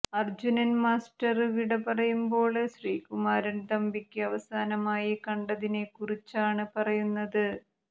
Arjunan master വിടപറയുമ്പോള് ശ്രീകുമാരൻ തമ്പിക്ക് അവസാനമായി കണ്ടതിനെ കുറിച്ചാണ് പറയുന്നത്